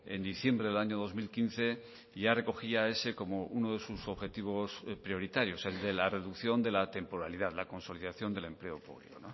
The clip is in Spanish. en diciembre del año dos mil quince ya recogía ese como uno de sus objetivos prioritarios el de la reducción de la temporalidad la consolidación del empleo público